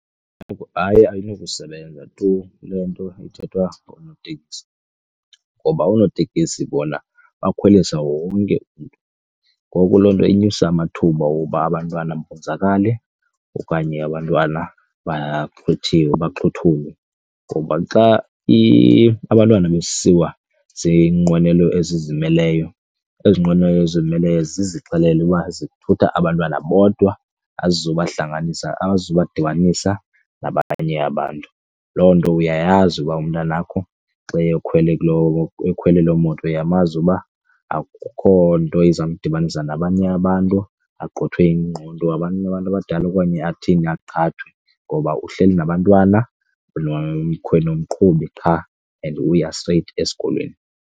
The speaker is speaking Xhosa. Hayi, ayinokusebenza tu le nto ithethwa ngoonoteksi ngoba oonotekisi bona bakhwelisa wonke umntu ngoku loo nto inyusa amathuba oba abantwana bonzakale okanye abantwana baxhuthulwe. Ngoba xa abantwana besiwa zinqwele ezizimeleyo, ezi nqwenele zizimeleyo zizixelele uba zithutha abantwana bodwa azizoba hlanganisa, azizuba dibanisa nabanye abantu ityiwa. Loo nto uyayazi uba umntana wakho xa ekhwele kuloo, ekhwele loo moto uyamazi uba akukho nto izamdibanisa nabanye abantu axwithwe ingqondo ngabanye abantu abadala okanye athini, aqhathwe, ngoba uhleli nabantwana nomqhubi qha and uya straight esikolweni.